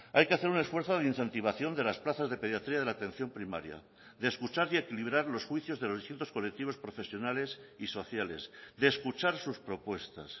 hay que hacer un esfuerzo de incentivación de las plazas de pediatría de la atención primaria de escuchar y equilibrar los juicios de los distintos colectivos profesionales y sociales de escuchar sus propuestas